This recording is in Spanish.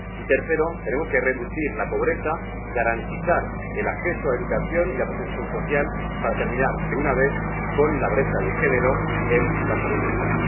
Y, tercero, tenemos que reducir la pobreza, garantizar el acceso a la educación y la protección social para terminar de una vez con la brecha de género en la salud mental.